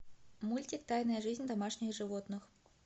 мультик тайная жизнь домашних животных